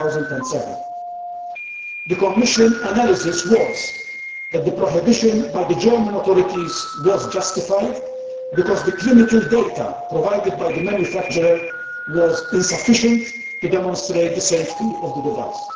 2007. The Commission analysis was that the prohibition by the German authorities was justified because the clinical data provided by the manufacturer was insufficient to demonstrate the safety of the device.